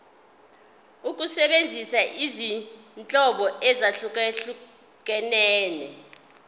ukusebenzisa izinhlobo ezahlukehlukene